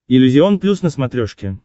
иллюзион плюс на смотрешке